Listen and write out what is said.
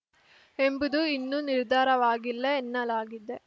ಎಂಬುದು ಇನ್ನೂ ನಿರ್ಧಾರವಾಗಿಲ್ಲ ಎನ್ನಲಾಗಿದೆ